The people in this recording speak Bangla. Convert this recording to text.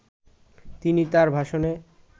তিনি তার ভাষণে